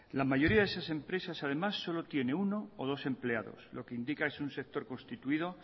la mayoría de esas empresas además solo tiene uno o dos empleados lo que implica que es un sector constituido